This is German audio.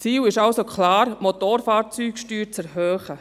Ziel ist es also klar, die Motorfahrzeugsteuer zu erhöhen.